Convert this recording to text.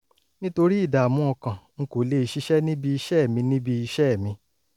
nítorí ìdààmú ọkàn n kò lè ṣiṣẹ́ níbi iṣẹ́ mi níbi iṣẹ́ mi